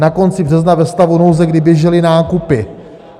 Na konci března ve stavu nouze, kdy běžely nákupy.